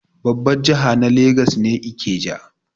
Babbar jiha na legas ne Ikeja.